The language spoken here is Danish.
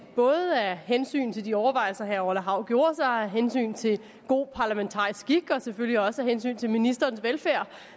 både af hensyn til de overvejelser herre orla hav gjorde sig og af hensyn til god parlamentarisk skik og selvfølgelig også af hensyn til ministerens velfærd